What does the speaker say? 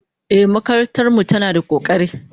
Ehh, makarantar mu tana da kokari